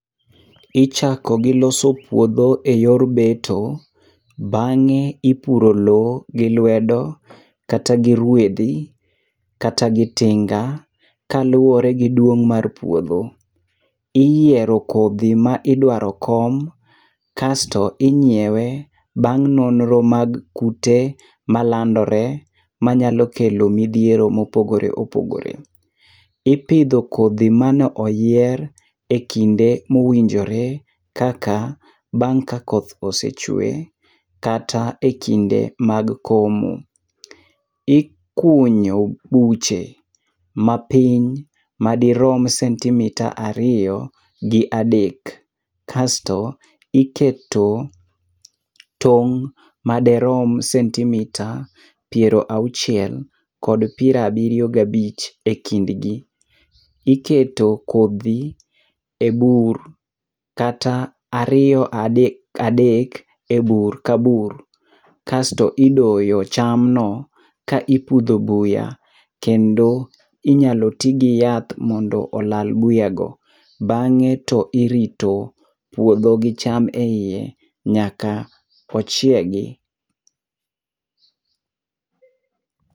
Ichako gi loso puodho eyor beto. Bang'e ipuro lowo gi luedo, kata gi ruedhi, kata gi tinga, kaluwore gi duong' mar puodho. Iyiero kodhi ma idwaro kom, kasto ing'iewe bang' nonro mag kute malandore manyalo kelo midhiero mopogore opogore. Ipidho kodhi mane oyier ekinde mowinjore kaka bang' ka koth osee chwe. Kata ekinde mag komo. Ikunyo buche mapiny madirom sentimita ariyo gi adek kasto iketo tong' madirom sentimita piero auchiel kod piero abiriyo gabich ekindgi. Iketo kodhi ebur, kata ariyo, adek adek ebur ka bur. Kasto idoyo chamno ka ipudho buya, kendo inyalo ti giyath mondo olal buyago. Bang' e to irito puodho gi cham eiye nyaka ochiegi.